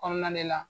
Kɔnɔna de la